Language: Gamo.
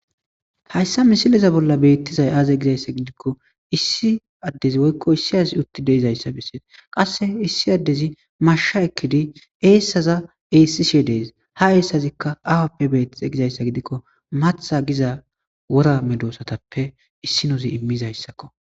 Hayssa misileza bolla beettizay aaze gizayssa gidikko issi addezi woykko issi azi utti deizayssa bessees qasse issi addezi masha ekkidi eessaza esishi dees ha eessazikka awappe beettiza gizayssa gidikko matha giza wora medoosatappe issinozi immizayssakko.